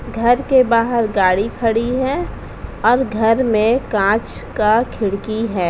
घर के बाहर गाड़ी खड़ी है और घर में कांच का खिड़की है।